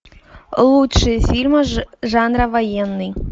лучшие фильмы жанра военный